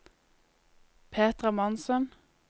Petra Monsen